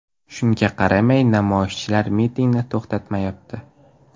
Shunga qaramay, namoyishchilar mitingni to‘xtatmayapti.